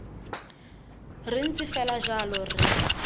re ntse fela jalo re